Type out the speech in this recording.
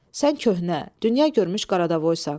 Sən köhnə, dünya görmüş Qaradavoysan.